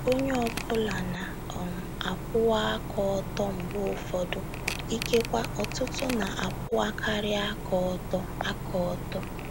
ONYE ọ bụla na um - akwụwa aka ọtọ mgbe ụfọdụ; ikekwe, ọtụtụ na - akwụwakarị aka ọtọ. aka ọtọ.